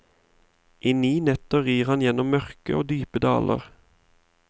I ni netter rir han gjennom mørke og dype daler.